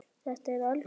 Þetta er algjör lúxus.